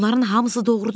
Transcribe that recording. Bunların hamısı doğrudur.